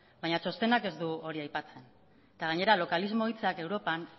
baina txostenak ez du hori aipatzen eta gainera localismo hitzak europan